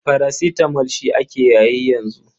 Parasitamo shi ake yayi yanzu.